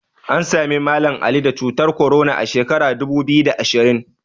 An Sami Mallam Ali da cutar korona a sheka dubu biyu da ashirin